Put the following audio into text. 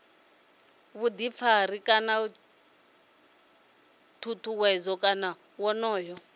vhuḓifari kana tshutshedzo kana wonoyo